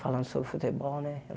falando sobre futebol, né?